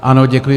Ano, děkuji.